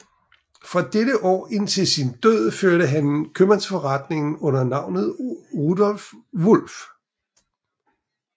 Fra dette år indtil sin død førte han købmandsforretning under navnet Rudolph Wulff